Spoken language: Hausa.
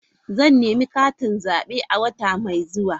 Zan nemi katin zabe a wata mai zuwa.